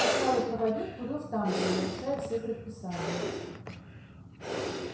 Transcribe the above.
усталый проводник курил в тамбуре нарушая все предписания